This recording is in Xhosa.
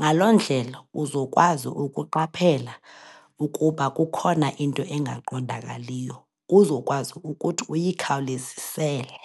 Ngaloo ndlela, uzokwazi ukuqaphela ukuba kukhona into engaqondakaliyo, kuzokwazi ukuthi uyikhawulezisele.